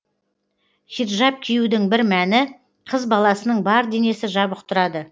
хиджаб киюдің бір мәні қыз баласының бар денесі жабық тұрады